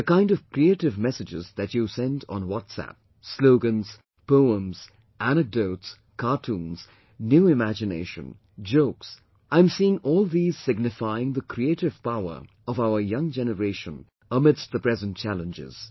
The kind of creative messages that you send on WhatsApp slogans, poems, anecdotes, cartoons, new imagination, jokes I am seeing all these signifying the creative power of our young generation amidst the present challenges